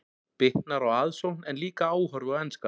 Bitnar á aðsókn en líka áhorfi á enska.